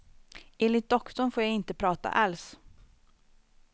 Enligt doktorn får jag inte prata alls.